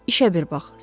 İşə bir bax.